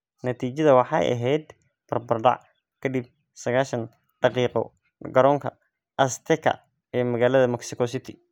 Natiijada waxay ahayd barbardac kadib saqashan daqiiqo garoonka Azteca ee magaalada Mexico City.